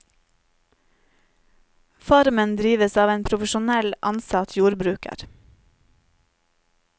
Farmen drives av en profesjonell, ansatt jordbruker.